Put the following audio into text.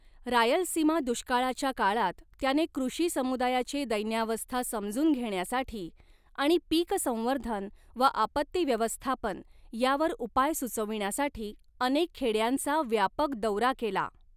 रायलसीमा दुष्काळाच्या काळात त्याने कृषि समुदायाची दैन्यावस्था समजून घेण्यासाठी आणि पीक संवर्धन व आपत्ती व्यवस्थापन यावर उपाय सुचविण्यासाठी अनेक खेड्यांचा व्यापक दौरा केला.